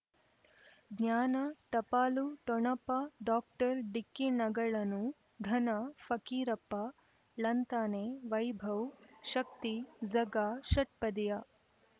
ಜ್ಞಾನ ಟಪಾಲು ಠೊಣಪ ಡಾಕ್ಟರ್ ಢಿಕ್ಕಿ ಣಗಳನು ಧನ ಫಕೀರಪ್ಪ ಳಂತಾನೆ ವೈಭವ್ ಶಕ್ತಿ ಝಗಾ ಷಟ್ಪದಿಯ